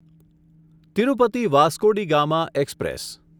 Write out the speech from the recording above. Tirupati Vasco da Gama express